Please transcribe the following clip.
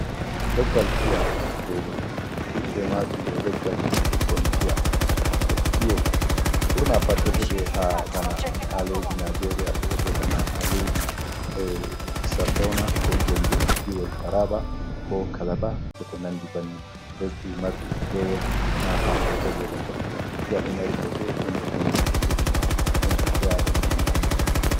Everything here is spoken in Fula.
Leggal piya e ɓiɓɓe maajum. Ɗo leggal ɓikkon piya ko piyo, ɓurna pat ɗo heɓe haa bana haa laydi najeeriya .Ɗo heɓe bana haa laydi a Sardawna ko Gembu jiwol Taraaba ko Kalaba e ko nandi banni. Lesdi marndi peewol naa haa kootoy ɓe heɓata piya. Piya ɗo mari bote ɗo nder nonne furut ,ɗon ɓiɓɓe aadama'en nyamata.